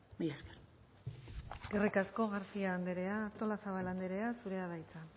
mila esker eskerrik asko garcía andrea artolazabal andrea zurea da hitza